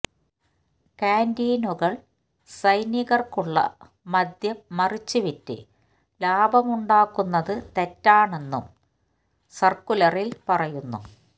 ക്യാന്റീനുകള് സൈനികര്ക്കുള്ള മദ്യം മറിച്ചു വിറ്റ് ലാഭമുണ്ടാക്കുന്നത് തെറ്റാണെന്നും സര്ക്കുലറില് പറയുന്നു